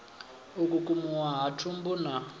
u kukumuwa ha thumbu na